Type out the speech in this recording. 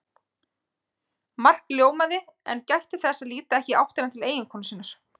Mark ljómaði en gætti þess að líta ekki í áttina til eiginkonu sinnar.